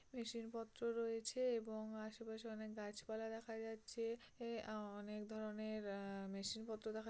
মেশিনপত্র রয়েছে এবং আশেপাশে অনেক গাছপালা দেখা যাচ্ছে এ অনেক ধরনের আ মেশিনপত্র দেখা --